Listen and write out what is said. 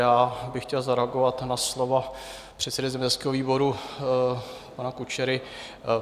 Já bych chtěl zareagovat na slova předsedy zemědělského výboru, pana Kučery.